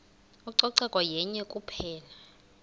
ucoceko yenye kuphela